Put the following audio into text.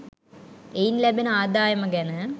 එයින් ලැබෙන ආදායම ගැන